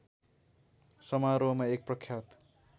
समारोहमा एक प्रख्यात